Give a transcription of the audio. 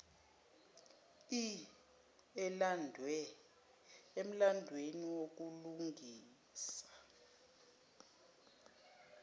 ii emlandweni wokulungisa